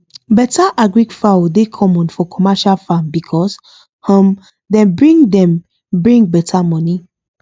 better agric fowl dey common for commercial farm because um dem bring dem bring better money